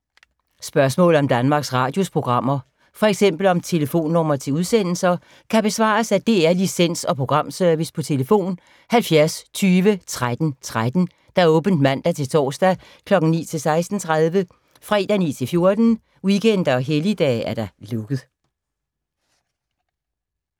Spørgsmål om Danmarks Radios programmer, f.eks. om telefonnumre til udsendelser, kan besvares af DR Licens- og Programservice: tlf. 70 20 13 13, åbent mandag-torsdag 9.00-16.30, fredag 9.00-14.00, weekender og helligdage: lukket.